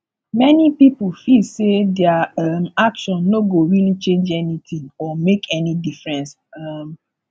many pipo feel sey their um action no go really change anything or make any difference um